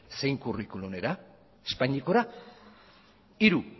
zein curriculumera espainiakora hiru